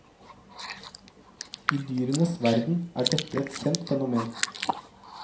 I dyrenes verden er dette et kjent fenomen.